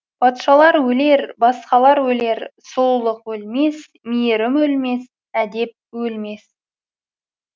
патшалар өлер басқалар өлер сұлулық өлмес мейірім өлмес әдеп өлмес